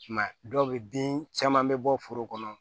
I m'a ye dɔw bɛ bin caman bɛ bɔ foro kɔnɔ